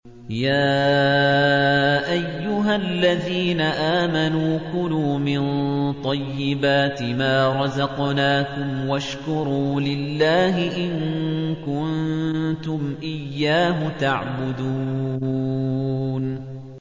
يَا أَيُّهَا الَّذِينَ آمَنُوا كُلُوا مِن طَيِّبَاتِ مَا رَزَقْنَاكُمْ وَاشْكُرُوا لِلَّهِ إِن كُنتُمْ إِيَّاهُ تَعْبُدُونَ